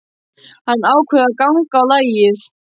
Hann ákveður að ganga á lagið.